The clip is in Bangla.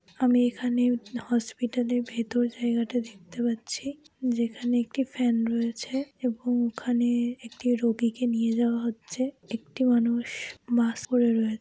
আমি এখানে হসপিটাল - এর ভেতর জায়গাটা দেখতে পাচ্ছি যেখানে একটি ফ্যান রয়েছে এবং ওখানে একটি রোগীকে নিয়ে যাওয়া হচ্ছে। একটি মানুষ মাস্ক পড়ে রয়ে--